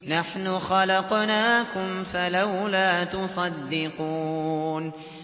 نَحْنُ خَلَقْنَاكُمْ فَلَوْلَا تُصَدِّقُونَ